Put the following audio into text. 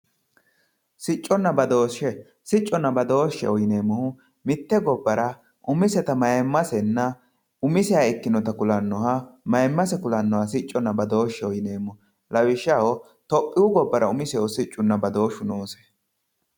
Sicconna badooshe, sicconna badoosheho yineemmohu mite gobbara umisetta mayimmasenna umiseha ikkinoha ku'lanoha mayimmase ku'lanoha sicconna badoosheho yineemmo lawishshaho tuphiyu gobbara umisehu siccunna badooshu noose.